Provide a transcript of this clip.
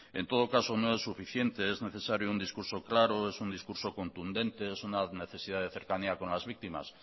en todo caso no es suficiente es necesario un discurso claro es un discurso contundente es una necesidad de cercanía con las víctimas